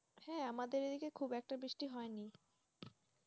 হ্যাঁ আমাদের এই দিকে খুব একটা বৃষ্টি হয় নাই,